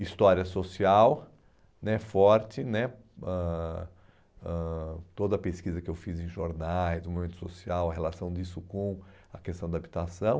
História social né, forte né, ãh ãh toda a pesquisa que eu fiz em jornais, o momento social, a relação disso com a questão da habitação.